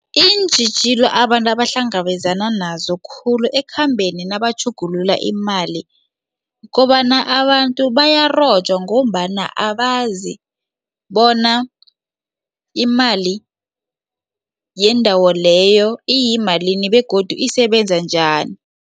Iintjhijilo abantu abahlangabezana nazo khulu ekhambeni nabatjhugulula imali kobana abantu bayarojwa ngombana abazi bona imali yendawo leyo iyimalini begodu isebenza njani.